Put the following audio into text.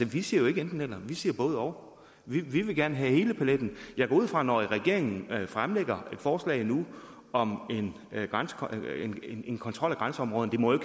vi siger jo ikke enten eller vi siger både og vi vil gerne have hele paletten jeg går ud fra at når regeringen fremlægger et forslag nu om en kontrol af grænseområderne det må jo